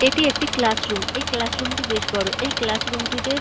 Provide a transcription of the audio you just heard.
এটি একটি classroom. এই ক্লাস রুম টি বেশ বড়। এই ক্লাস রুম টিতে --